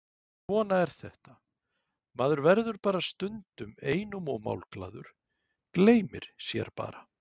Svona er þetta, maður verður stundum einum of málglaður, gleymir sér bara.